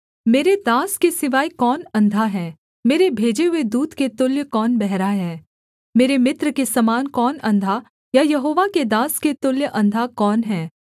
मेरे दास के सिवाय कौन अंधा है मेरे भेजे हुए दूत के तुल्य कौन बहरा है मेरे मित्र के समान कौन अंधा या यहोवा के दास के तुल्य अंधा कौन है